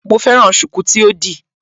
Mo fẹ́ràn ṣùkú tí ó di